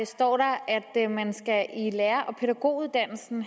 står der at man i lærer og pædagoguddannelsen